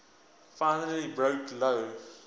finally broke lou